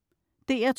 DR2: